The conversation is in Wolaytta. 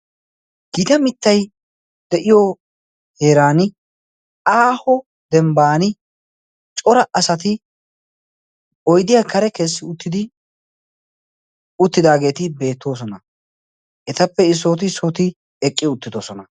Giita mittay de'iyo heeran aaho dembban cora asati oidiya kare keessi uttidi uttidaageeti beettoosona etappe isooti isooti eqqi uttidosona.